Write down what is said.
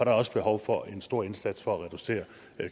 er også behov for en stor indsats for at reducere